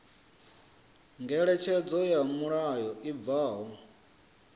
ngeletshedzo ya mulayo i bvaho